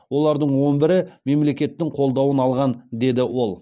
олардың он бірі мемлекеттің қолдауын алған деді ол